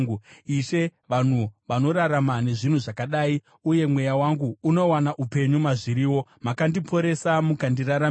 Ishe, vanhu vanorarama nezvinhu zvakadai; uye mweya wangu unowana upenyu mazviriwo. Makandiporesa mukandiraramisa.